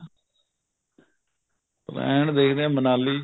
plan ਦੇਖਦੇ ਹਾਂ ਮਨਾਲੀ